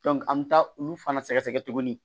an mi taa olu fana sɛgɛsɛgɛ tuguni